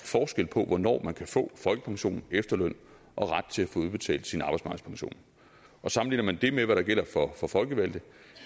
forskel på hvornår man kan få folkepension efterløn og har ret til at få udbetalt sin arbejdsmarkedspension og sammenligner man det med hvad der gælder for for folkevalgte